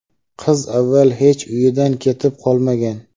qiz avval hech uyidan ketib qolmagan.